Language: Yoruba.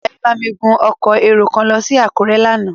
Ayọ̀bámi gun ọkọ̀ èrò kan lọ sí Àkúrẹ́ lánàá.